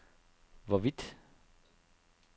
hvorvidt